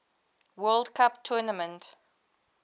world cup tournament